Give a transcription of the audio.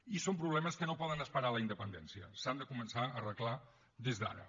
i són problemes que no poden esperar la independència s’han de començar a arreglar des d’ara